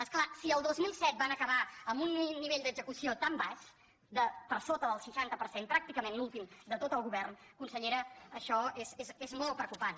és clar si el dos mil set van acabar amb un nivell d’execució tan baix per sota del seixanta per cent pràctica·ment l’últim de tot el govern consellera això és molt preocupant